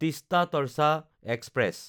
Teesta Torsa express